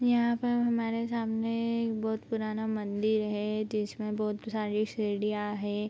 यहां पर हमारे सामने एक बहुत पुराना मंदिर है जिसमे बहुत सारे सीडीया हैं।